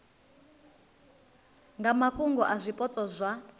nga mafhungo a zwipotso zwa